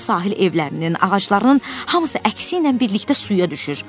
Bax bu sahil evlərinin, ağaclarının hamısı əksi ilə birlikdə suya düşür.